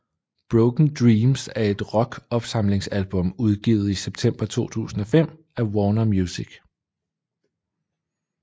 Broken Dreams er et rock opsamlingsalbum udgivet i september 2005 af Warner Music